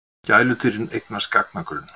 Gæludýrin eignast gagnagrunn